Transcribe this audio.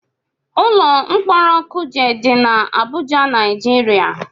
Ụlọ mkpọrọ kuje dị na Abụja, Naijiria